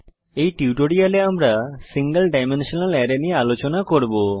এই টিউটোরিয়ালে আমরা সিঙ্গল ডাইমেনশনাল আরায় নিয়ে আলোচনা করব